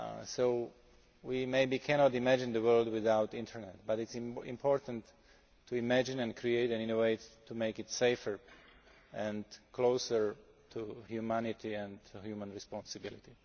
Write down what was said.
So we maybe cannot imagine the world without the Internet but it is important to imagine and create and innovate to make it safer and closer to humanity and human responsibility.